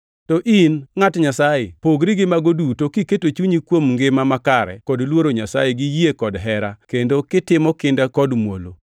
To in, ngʼat Nyasaye, pogri gi mago duto kiketo chunyi kuom ngima makare kod luoro Nyasaye gi yie kod hera kendo kitimo kinda kod muolo.